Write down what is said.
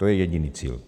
To je jediný cíl.